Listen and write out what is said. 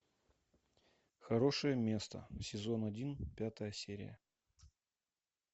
хорошее место сезон один пятая серия